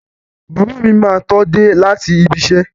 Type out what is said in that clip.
Bàbá mi máa tó dé láti ibiṣẹ́.